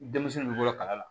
Denmisɛnnin ninnu bolo kala la